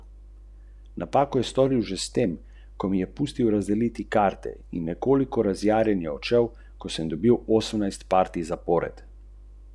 Živeti normalno.